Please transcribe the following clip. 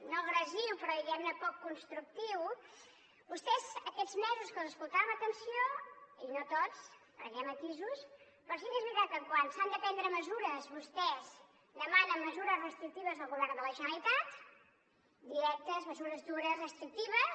no agressiu però diguem ne poc constructiu vostès aquests mesos que els escoltava amb atenció i no tots perquè hi ha matisos sí que és veritat que quan s’han de prendre mesures vostès demanen mesures restrictives al govern de la generalitat directes mesures dures restrictives